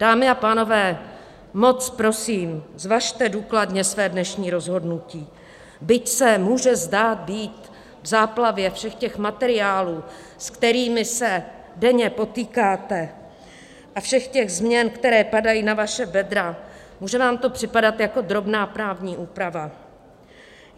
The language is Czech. Dámy a pánové, moc prosím, zvažte důkladně své dnešní rozhodnutí, byť se může zdát být v záplavě všech těch materiálů, se kterými se denně potýkáte, a všech těch změn, které padají na vaše bedra, může vám to připadat jako drobná právní úprava.